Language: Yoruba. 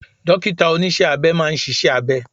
Dọ́kítà oníṣẹ́ abẹ máa ṣiṣẹ́ abẹ.